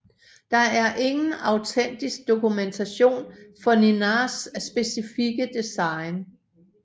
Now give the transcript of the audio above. Der er ingen autentisk dokumentation for Niñas speficikke design